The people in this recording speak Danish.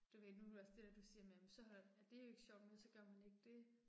Du ved nu er du også det der du siger med jamen så holder, er det ikke sjovt mere, så gør man ikke det